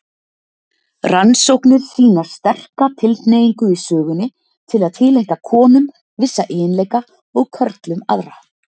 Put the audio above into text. Rannsóknir sýna sterka tilhneigingu í sögunni til að tileinka konum vissa eiginleika og körlum aðra.